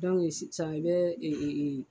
sisan i bɛ ee